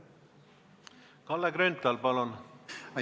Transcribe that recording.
Kalle Grünthal, palun!